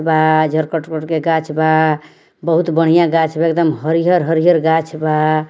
बा गाछ बा | बहुत बढ़िया गाछ बा एकदम हरियर हरियर गाछ बा |